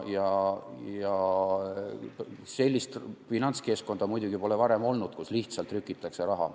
Sellist finantskeskkonda muidugi pole varem olnud, kus lihtsalt trükitakse raha.